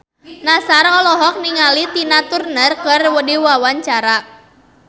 Nassar olohok ningali Tina Turner keur diwawancara